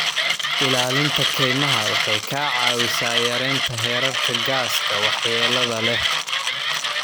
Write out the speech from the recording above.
Ilaalinta kaymaha waxay ka caawisaa yareynta heerarka gaaska waxyeellada leh.